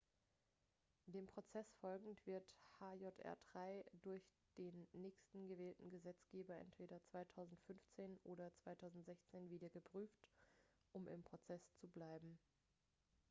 dem prozess folgend wird hjr-3 durch den nächsten gewählten gesetzgeber entweder 2015 oder 2016 wieder geprüft um im prozess zu bleiben